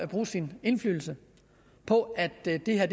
bruge sin indflydelse på at det det her